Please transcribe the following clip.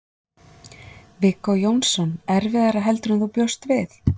Viggó Jónsson: Erfiðara heldur en þú bjóst við?